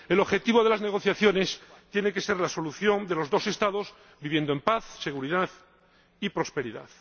El objetivo de las negociaciones tiene que ser la solución de los dos Estados viviendo en paz, seguridad y prosperidad.